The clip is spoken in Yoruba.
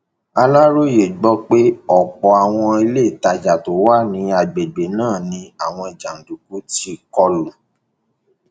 aláròye gbọ pé ọpọ àwọn iléetajà tó wà ní àgbègbè náà ni àwọn jàǹdùkú tí kò lù